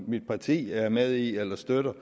mit parti er med i eller støtter